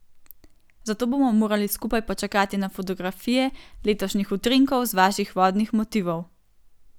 Zato bomo morali skupaj počakati na fotografije letošnjih utrinkov z vaših vodnih motivov.